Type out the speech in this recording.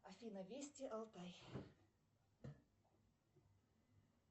афина вести алтай